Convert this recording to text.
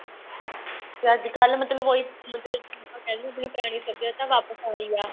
ਤੇ ਅੱਜਕਲ ਮਤਲਬ ਉਹੀ ਮਤਲਬ ਜਿਹਨੂੰ ਆਪਾਂ ਕਹਿੰਦੇ ਪੁਰਾਣੀ ਸੱਭਿਅਤਾ ਵਾਪਸ ਆ ਰਹੀ ਆ